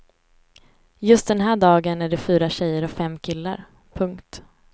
Just den här dagen är de fyra tjejer och fem killar. punkt